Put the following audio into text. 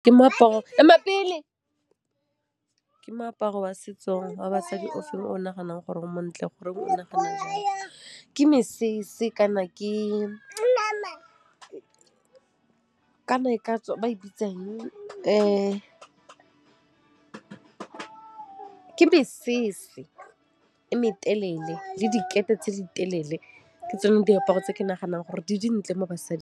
Ke moaparo wa setso wa basadi o feng, o naganang gore o montle, goreng o nagana jalo? Ke mesese kana ke, kana e ka tswa ba e bitsang ke mesese e me telele le dikete tse di telele, ke tsone diaparo tse ke naganang gore di dintle mo basading.